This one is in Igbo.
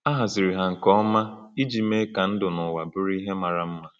A haziri ha nke ọma iji mee ka ndụ n’ụwa bụrụ ihe mara mma.